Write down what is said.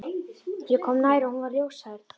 Ég kom nær og hún var ljóshærð.